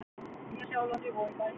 Nýja-Sjálandi og í Bæheimi.